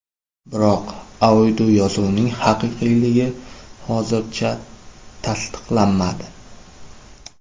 Biroq audioyozuvning haqiqiyligi hozircha tasliqlanmadi.